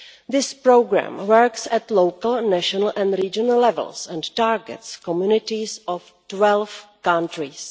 This programme works at local, national and regional level and targets the communities of 12 countries.